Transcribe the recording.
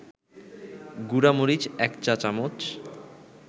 গুঁড়ামরিচ ১ চা-চামচ